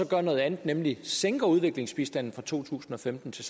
gør noget andet nemlig sænker udviklingsbistanden fra to tusind og femten til